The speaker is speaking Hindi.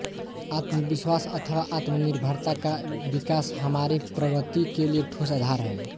आत्मविश्वास अथवा आत्मनिर्भरता का विकास हमारीप्रगति के लिए ठोस आधार है